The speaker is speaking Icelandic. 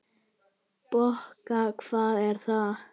Bokka, hvað er það?